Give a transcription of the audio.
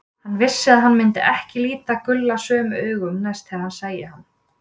Hann vissi að hann myndi ekki líta Gulla sömu augum næst þegar hann sæi hann.